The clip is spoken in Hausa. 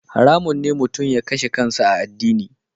Haramun ne mutum ya kashe kansa a addini.